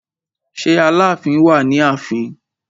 Ṣé Aláàfin wà ní ààfin?